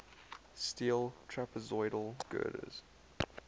steel trapezoidal girders